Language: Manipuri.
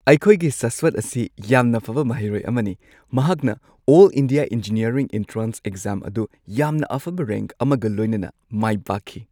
ꯑꯩꯈꯣꯏꯒꯤ ꯁꯥꯁꯋꯠ ꯑꯁꯤ ꯌꯥꯝꯅ ꯐꯕ ꯃꯍꯩꯔꯣꯏ ꯑꯃꯅꯤ! ꯃꯍꯥꯛꯅ all India engineering entrance exam ꯑꯗꯨ ꯌꯥꯝꯅ ꯑꯐꯕ ꯔꯦꯡꯛ ꯑꯃꯒ ꯂꯣꯏꯅꯅ ꯃꯥꯏ ꯄꯥꯛꯈꯤ꯫